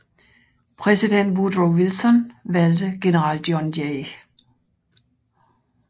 Præsident Woodrow Wilson valgte general John J